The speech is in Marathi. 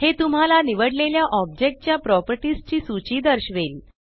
हे तुम्हाला निवडलेल्या ओब्जेकटच्या प्रॉपर्टीस ची सूची दर्शवेल